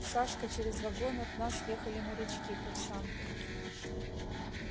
сашка через вагон от нас ехали морячки курсанты